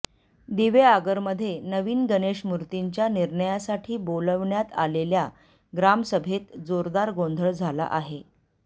दिवेआगरमध्ये नवीन गणेशमूर्तीच्या निर्णयासाठी बोलावण्यात आलेल्या ग्रामसभेत जोरदार गोँधळ झाला आहे